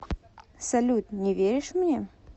салют не веришь мне